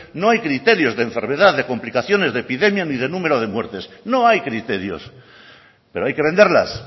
no hay criterios de enfermedad de complicaciones de epidemia ni de número de muertes no hay criterios pero hay que venderlas